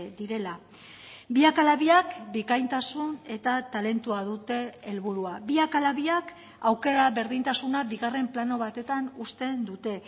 direla biak ala biak bikaintasun eta talentua dute helburua biak ala biak aukera berdintasuna bigarren plano batetan uzten dute